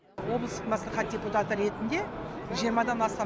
облыстық мәслихат депутаты ретінде жиырмадан астам